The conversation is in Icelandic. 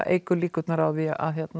eykur líkurnar á því